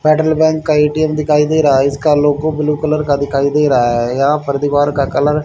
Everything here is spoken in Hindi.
बैंक का ए_टी_एम दिखाई दे रहा है इसका लोगो ब्लू कलर का दिखाई दे रहा है यहां पर दीवार का कलर --